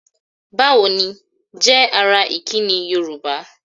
"Bá wo ni?" jẹ́ ara ìkíni Yorùbá.